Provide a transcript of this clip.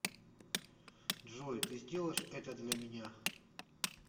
джой ты сделаешь это для меня